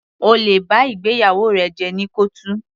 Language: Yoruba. O lè ba ìgbéyàwó rẹ jẹ́ ní kọ́ọ̀tù.